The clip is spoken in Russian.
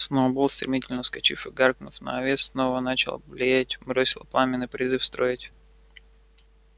сноуболл стремительно вскочив и гаркнув на овец снова начавших блеять бросил пламенный призыв строить